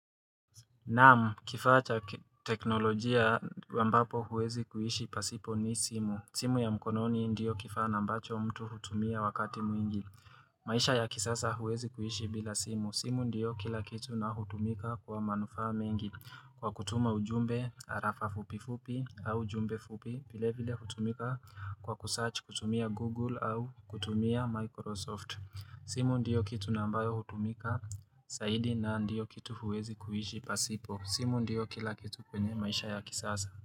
Namu, kifacha teknolojia wambapo huwezi kuhishi pasipo ni simu. Simu ya mkononi ndiyo kifaa ambacho mtu hutumia wakati mwingi. Maisha ya kisasa huwezi kuhishi bila simu. Simu ndiyo kila kitu na hutumika kwa manufa mengi. Kwa kutuma ujumbe, arafa fupi fupi, au jumbe fupi, bile vile hutumika kwa kusearch, kutumia Google, au kutumia Microsoft. Simu ndiyo kitu nambayo hutumika saidi na ndiyo kitu huwezi kuiji pasipo simu ndiyo kila kitu kwenye maisha ya kisaza.